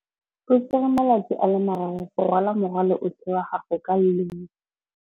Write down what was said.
O tsere malatsi a le marraro go rwala morwalo otlhe wa gagwe ka llori.